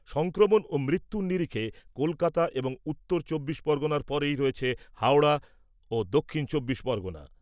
সংক্রমণ ও মৃত্যুর নিরিখে কলকাতা এবং উত্তর চব্বিশ পরগণার পরেই রয়েছে হাওড়া, ও দক্ষিণ চব্বিশ পরগণা।